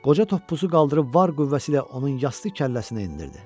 Qoca toppuzu qaldırıb var qüvvəsi ilə onun yastı kəlləsinə endirdi.